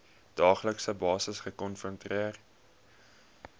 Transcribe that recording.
daaglikse basis gekonfronteer